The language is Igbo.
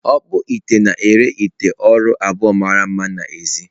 Ọkpụite na-ere ite ụrọ abụọ mara mma n’èzí.